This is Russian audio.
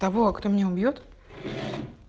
того кто меня убьёт